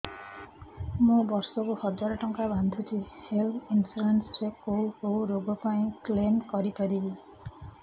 ମୁଁ ବର୍ଷ କୁ ହଜାର ଟଙ୍କା ବାନ୍ଧୁଛି ହେଲ୍ଥ ଇନ୍ସୁରାନ୍ସ ରେ କୋଉ କୋଉ ରୋଗ ପାଇଁ କ୍ଳେମ କରିପାରିବି